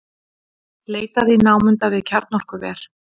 Leitað í námunda við kjarnorkuver